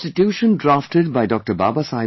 In the Constitution drafted by Dr